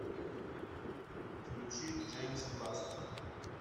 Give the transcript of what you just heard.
включи джеймс ласт